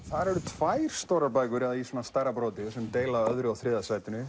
þar eru tvær stórar bækur eða í stærra broti sem deila öðru og þriðja sætinu